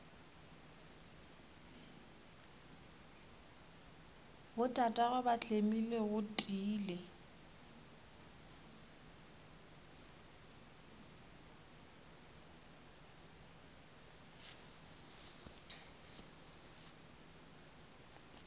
botatagwe ba tlemile go tiile